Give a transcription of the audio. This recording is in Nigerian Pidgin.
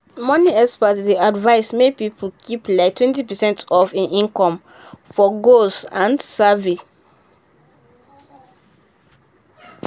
money experts dey advise make people keep like twenty percent of him income for goal and savings.